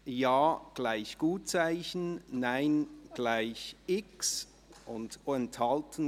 – Ja gleich Gutzeichen, Nein gleich X, und Enthalten